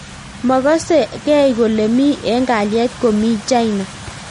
Makase gei kolee mii eng kalyet komii china